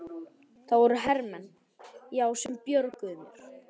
Það voru hermenn, já, sem björguðu mér.